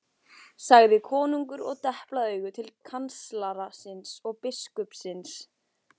sagði konungur og deplaði auga til kanslara síns og biskupsins.